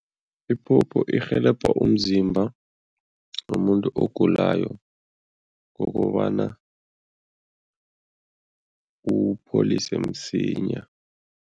Iphopho irhelebha umzimba womuntu ogulayo ngokobana uwupholise msinya.